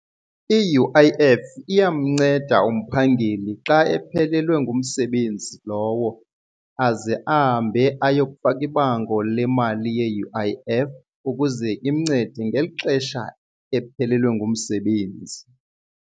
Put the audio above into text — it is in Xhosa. I-U_I_F iyamnceda umphangeli xa ephelelwe ngumsebenzi lowo aze ahambe ayokufaka ibango lemali ye-U_I_F ukuze imncede ngeli xesha ephelelwe ngumsebenzi.